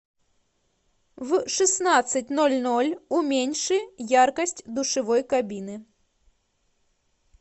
в шестнадцать ноль ноль уменьши яркость душевой кабины